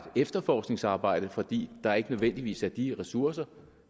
efterforskningsarbejde fordi der ikke nødvendigvis er de ressourcer